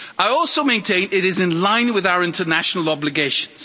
I also maintain it is in line with our international obligations.